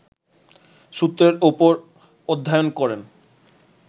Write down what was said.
সূত্রের ওপর অধ্যায়ন করেন